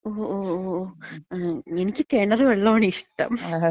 ഓ ഓ ഓ ഓ, എനിക്ക് കെണറ് വെള്ളോണ് ഇഷ്ടം.